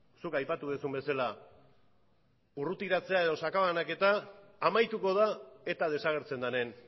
zuk aipatu duzun bezala urrutiratzea edo sakabanaketa amaituko da eta desagertzen denen